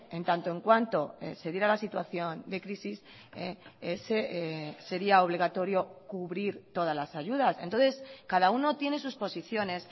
en tanto en cuanto se diera la situación de crisis sería obligatorio cubrir todas las ayudas entonces cada uno tiene sus posiciones